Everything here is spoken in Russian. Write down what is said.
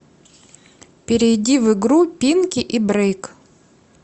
перейди в игру пинки и брейк